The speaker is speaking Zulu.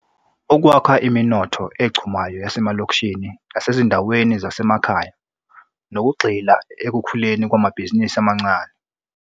.ukwakha iminotho echumayo yasemalokishini nasezinda weni zasemakhaya, nokugxila ekukhuleni kwamabhizinisi amancane.